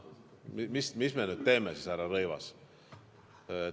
No mis me nüüd teeme siis, härra Rõivas?